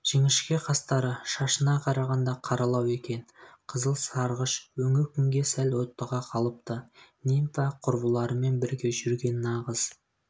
жіңішке қастары шашына қарағанда қаралау екен қызыл-сарғыш өңі күнге сәл оттыға қалыпты нимфа-құрбыларымен бірге жүрген нағыз